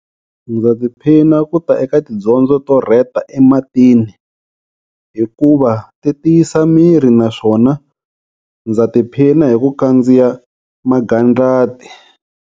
Ndza tiphina ku ta eka tidyondzo to rheta ematini hikuva ti tiyisa miri naswona ndza tiphina hi ku khandziya magandlati.